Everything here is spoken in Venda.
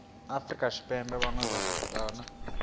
afrika tshipembe vhane vha vha